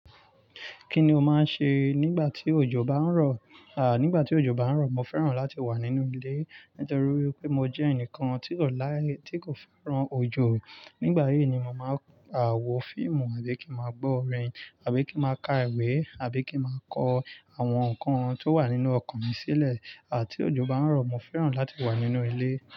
Kí ni o máa ń ṣe nígbà tí òjò bá ń rọ? À, nígbà tí òjò bá ń rọ, mo fẹ́ràn láti wà nínú ilé nítorí wipé mo jẹ́ ẹnìkan tí kò láí, tí kò fẹ́ràn òjò. Nígbà yìí ni mo màá n wọ fíìmù àbí kí màá gbọ́ orin àbí kí màá ka ìwé àbí kí màá kọ àwọn nǹkan tó wà nínú ọkọ̀n mi sílẹ̀. À tí òjò bá ń rọ, mo fẹ́ràn láti wà nínú ilé.